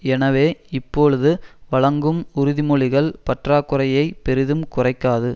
எனவே இப்பொழுது வழங்கும் உறுதிமொழிகள் பற்றாக்குறையை பெரிதும் குறைக்காது